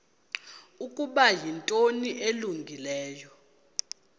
ukuba yinto elungileyo